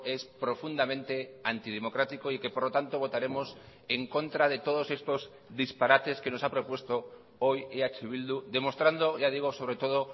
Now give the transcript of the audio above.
es profundamente antidemocrático y que por lo tanto votaremos en contra de todos estos disparates que nos ha propuesto hoy eh bildu demostrando ya digo sobre todo